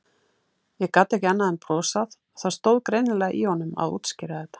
Ég gat ekki annað en brosað, það stóð greinilega í honum að útskýra þetta.